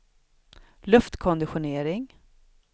luftkonditionering